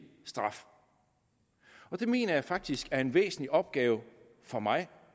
straf og det mener jeg faktisk er en væsentlig opgave for mig